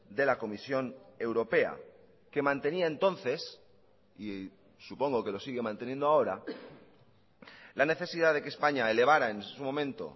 de la comisión europea que mantenía entonces y supongo que lo sigue manteniendo ahora la necesidad de que españa elevara en su momento